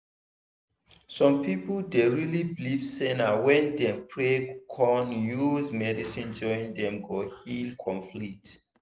some people dey really believe say na when dem pray con use medicine join dem go heal complete.